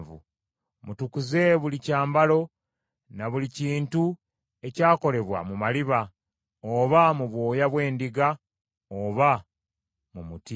Mutukuze buli kyambalo ne buli kintu ekyakolebwa mu maliba, oba mu bwoya bw’embuzi oba mu muti.”